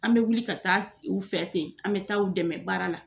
An bɛ wuli ka taa u fɛ ten, an bɛ taa u dɛmɛ baara la.